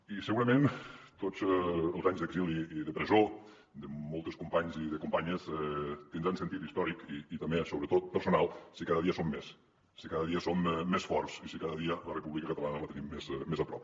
i segurament tots els anys d’exili i de presó de molts companys i de companyes tindran sentit històric i també sobretot personal si cada dia en som més si cada dia som més forts i si cada dia la república catalana la tenim més a prop